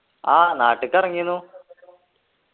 ആഹ് നാട്ടിക് ഇറങ്ങിന്നു